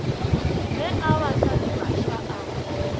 ge a ba hlalefiša a